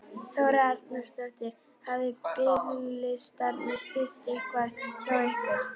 Þóra Arnórsdóttir: Hafa biðlistarnir styst eitthvað hjá ykkur?